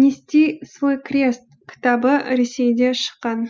нести свой крест кітабі ресейде шыққан